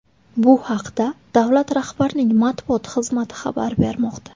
Bu haqda davlat rahbarining matbuot xizmati xabar bermoqda .